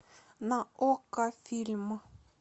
на окко фильм